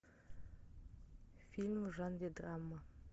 фильм в жанре драма